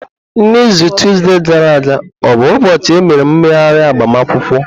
N'izu tuzdee gara aga o bụ ụbọchị emere mmeghari agbamakwụkwọ?